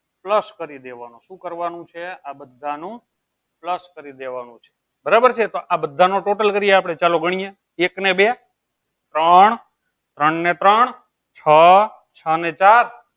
plus કરી દેવાનું શું કરવાનું છે? આ બધાનું plus કરી દેવાનું છે. બરાબર છે. તો આ બધાનો total કરીએ આપણે ચાલો ગણીએ એક ને બે ત્ર ત્રણ ને ત્રણ છ, છ ને ચાર